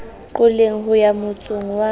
qoleng ho ya motsong wa